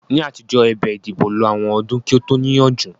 Ní àtijọ́, ẹ̀bẹ̀ ìdìbò lo àwọn ọdún kí ó tó níyanjú